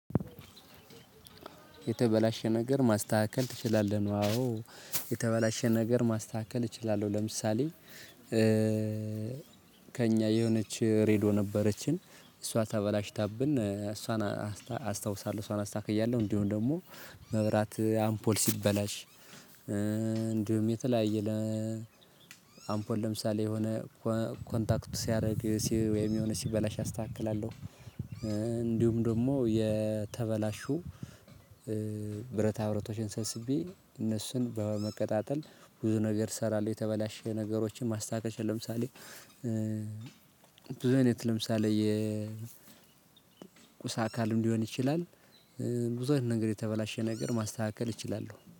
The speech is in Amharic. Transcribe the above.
የተበላሸ ነገር ማስተካከል ትችላለህ? ነው አዎ የተበላሸ ነገር ማስተካከል እችላለሁ ለምሳሌ ከእኛ የሆነች ሬድዮ ነበረችን እሷ ተበላሽታብን እሷን አስታውሳለሁ እሷን አስተካክያለሁ። እንዲሁም ደግሞ መብራት አምፖል ሲበላሽ እንዲሁም የተለያየ ለ አምፖል ለምሳሌ የሆነ ኮንታክት ሲያደርግ ወይም የሆነ ሲበላሽ አስተካክላለሁ። እንዲሁም ደግሞ የተበላሹ ብረታ ብብረቶችን ሰብስቤ እነሱን በመቀጣጠል ብዙ ነገር እሰራለሁ። የተበላሸ ነገሮችን ማስተካከል እችላለሁ። ለምሳሌ ብዙ አይነት ለምሳሌ የ ቁስ አካልም ሊሆን ይችላል። ብዙ አይነት ነገር የተበላሸ ነገር ማስተካከል እችላለሁ